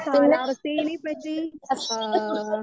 speaker 2 കാലവസ്ഥയിനെ പറ്റി ഏ